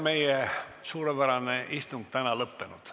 Meie suurepärane istung on täna lõppenud.